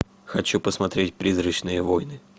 хочу посмотреть призрачные войны